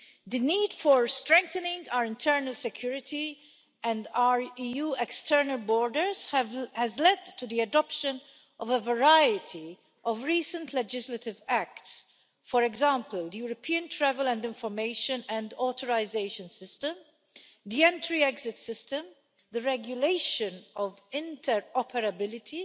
The need to strengthen our internal security and our EU external borders has led to the adoption of a variety of recent legislative acts, for example, the European travel and information and authorisation system, the entry exit system, the regulation of inter operability